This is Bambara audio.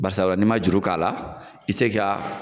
Basa ni ma juru k'a la, i te se ka